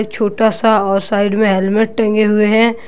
छोटा सा औ साइड में हेलमेट टंगे हुए हैं।